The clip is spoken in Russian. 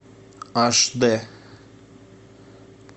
аш д